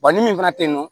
ni min fana te yen nɔ